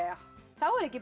þá er ekki